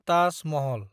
Taj Mahal